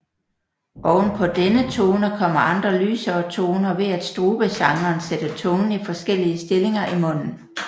Ovenpå denne tone kommer andre lysere toner ved at strubesangeren sætter tungen i forskellige stillinger i munden